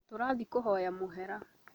Tũrathiĩ kũhoya mũhera